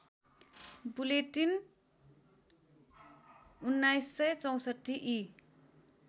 bulletin १९६४ ई